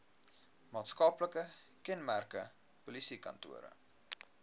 maatskaplike kenmerke polisiekantore